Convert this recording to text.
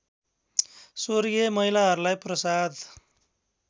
स्वर्गीय महिलाहरूलाई प्रसाद